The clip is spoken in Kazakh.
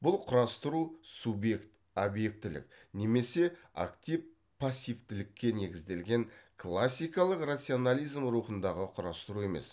бұл құрастыру субъект объектілік немесе актив пассивтілікке негізделген классикалық рационализм рухындағы құрастыру емес